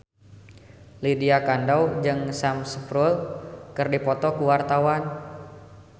Lydia Kandou jeung Sam Spruell keur dipoto ku wartawan